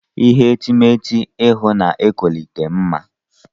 Ihe etemeete ịhụ na-etolite mma.